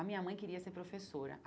A minha mãe queria ser professora.